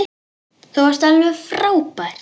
Þú varst alveg frábær.